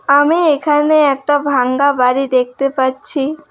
আমি এখানে একটা ভাঙ্গা বাড়ি দেখতে পাচ্ছি।